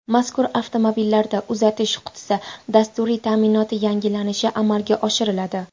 Mazkur avtomobillarda uzatish qutisi dasturiy ta’minoti yangilanishi amalga oshiriladi.